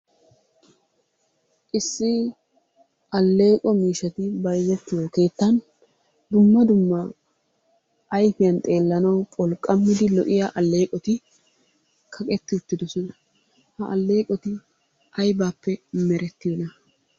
Issi alleeqo miishshati bayzettiyo keettan dumma dumma ayfiyan xeellanawu pholqammidi lo"iyaa alleeqoti kaqetti uttidosona. Ha alleqoti aybaappe merettiyoona?